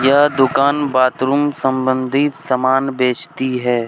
यह दुकान बाथरूम संबंधित सामान बेचती है।